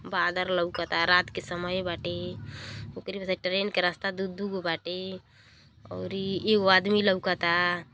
बादर लउकता। रात के समय बाटे। ओकरे ट्रेन क रास्ता दु दु गो बाटे औरी एगो आदमी लउकता।